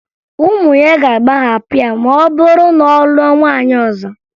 Ụmụ ya ga-agbaghapụ ya ma ọ bụrụ na ọ lụọ nwaanyị ọzọ